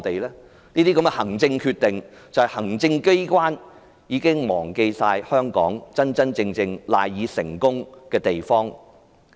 行政機關作出這些行政決定，顯示它已忘記香港賴以成功的地方。